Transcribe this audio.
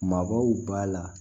Maabaw b'a la